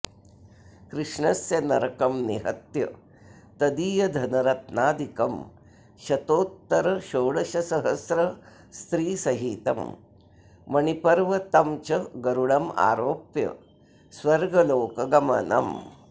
कृष्णस्य नरकं निहत्य तदीयधनरत्नादिकं शतोत्तरषोडशसहस्रस्त्रीसहितं मणिपर्व तं च गरुडमारोप्य स्वर्गलोकगमनम्